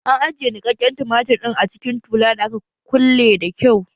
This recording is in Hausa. An ajiye niƙaƙƙen tumatir ɗin a cikin tula da aka kulle da kyau